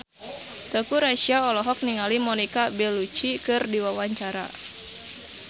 Teuku Rassya olohok ningali Monica Belluci keur diwawancara